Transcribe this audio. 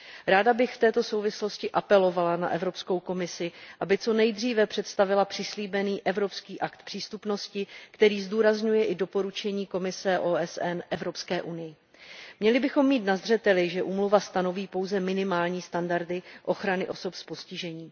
Ráda bych v této souvislosti apelovala na Evropskou komisi, aby co nejdříve představila přislíbený evropský akt přístupnosti, který zdůrazňuje i doporučení výboru OSN Evropské unii. Měli bychom mít na zřeteli, že úmluva stanoví pouze minimální standardy ochrany osob s postižením.